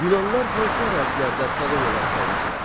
Yunanlılar hansı ərazilərdə koloniyalar salmışlar?